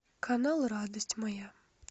канал радость моя